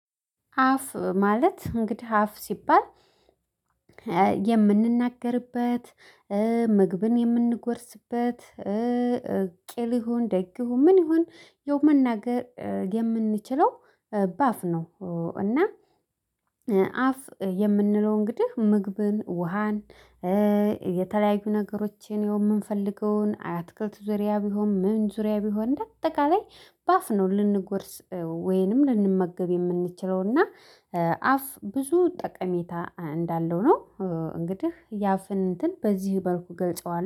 አፍ ማለት እንግዲህ አፍ ሲባል የምንናገርበት፣ ምግብን የምንጎርስበት፣ ቄል ይሁን ደግ ይሁን ምን ይሁን መናገር የምንችለው በአፍ ነው። እና አፍ የምንለው እንግዲህ ምግብን፣ ውሃን፣ የተለያዩ ነገሮችን የምንፈልገውን አትክልት ዙሪያ ቢሆን ምን ዙሪያ ቢሆን እንደ አጠቃላይ በአፍ ነው ልንጎርስ ወይንም ልንመገብ የምንችለው። እና አፍ ብዙ ጠቀሜታ እንዳለው ነው። እንግዲህ የአፍን እንትን በዚህ በልኩ ገልጸዋል።